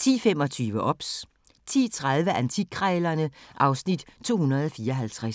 10:25: OBS 10:30: Antikkrejlerne (Afs. 254)